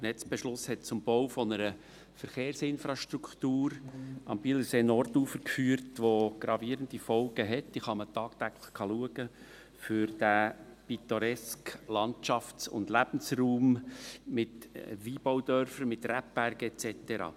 Der Netzbeschluss führte zum Bau einer Verkehrsinfrastruktur am Bielersee-Nordufer, die gravierende Folgen hat – die man täglich sieht – für den pittoresken Landschafts- und Lebensraum mit Weinbaudörfern, mit Rebbergen et cetera.